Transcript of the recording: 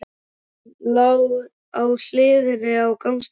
Hann lá á hliðinni á gangstéttinni.